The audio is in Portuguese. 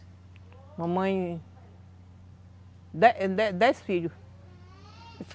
Mamãe... Dez, dez filhos.